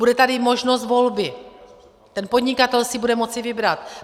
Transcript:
Bude tady možnost volby, ten podnikatel si bude moci vybrat.